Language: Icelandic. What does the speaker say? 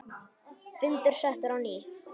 Fundur settur á ný.